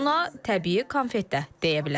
Ona təbii konfet də deyə bilərik.